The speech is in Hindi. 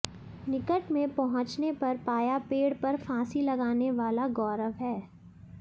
निकट में पहुंचने पर पाया पेड़ पर फांसी लगाने वाला गौरव है